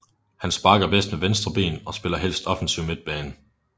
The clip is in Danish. Han sparker bedst med venstre ben og spiller helst offensiv midtbane